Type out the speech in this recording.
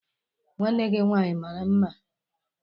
Nwanne gi nwanyi mara mma?